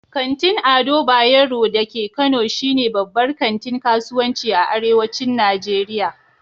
Kantin Ado Bayero da ke Kano shi ne babbar kantin kasuwanci a arewacin Nijeriya